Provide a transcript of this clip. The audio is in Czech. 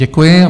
Děkuji.